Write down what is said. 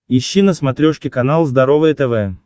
ищи на смотрешке канал здоровое тв